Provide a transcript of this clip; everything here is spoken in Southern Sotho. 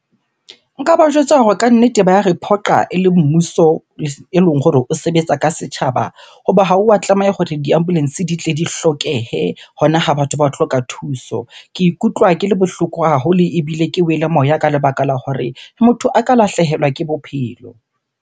Nka ba jwetsa hore kannete ba ya re phoqa ele mmuso eleng hore o sebetsa ka setjhaba. Hoba ha o wa tlameha hore di-ambulance di tle di hlokehe hona ha batho ba hloka thuso. Ke ikutlwa ke le bohloko haholo ebile ke wele moya ka lebaka la hore motho a ka lahlehelwa ke bophelo.